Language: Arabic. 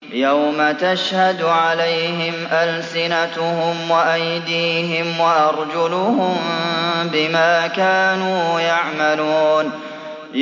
يَوْمَ تَشْهَدُ عَلَيْهِمْ أَلْسِنَتُهُمْ وَأَيْدِيهِمْ وَأَرْجُلُهُم بِمَا كَانُوا يَعْمَلُونَ